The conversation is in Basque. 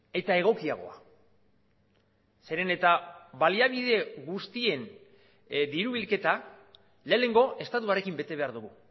eta egokiagoa zeren eta baliabide guztien diru bilketa lehenengo estatuarekin bete behar dugu